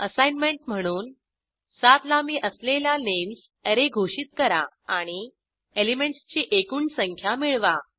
assignment म्हणून 7 लांबी असलेला नेम्स अॅरे घोषित करा आणि एलिमेंटसची एकूण संख्या मिळवा